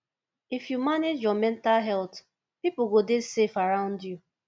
if you manage your mental health pipo go dey safe around you